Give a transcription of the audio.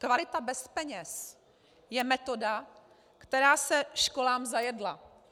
Kvalita bez peněz je metoda, která se školám zajedla.